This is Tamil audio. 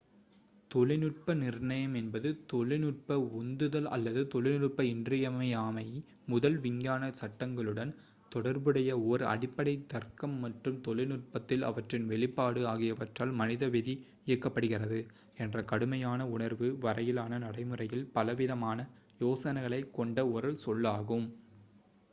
தொழில்நுட்ப நிர்ணயம் என்பது தொழில்நுட்ப உந்துதல் அல்லது தொழில்நுட்ப இன்றியமையாமை முதல் விஞ்ஞான சட்டங்களுடன் தொடர்புடைய ஓர் அடிப்படை தர்க்கம் மற்றும் தொழில்நுட்பத்தில் அவற்றின் வெளிப்பாடு ஆகியவற்றால் மனித விதி இயக்கப்படுகிறது என்ற கடுமையான உணர்வு வரையிலான நடைமுறையில் பலவிதமான யோசனைகளைக் கொண்ட ஒரு சொல்லாகும்